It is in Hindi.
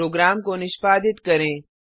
प्रोग्राम को निष्पादित करें